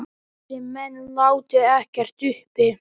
Þessir menn láti ekkert uppi.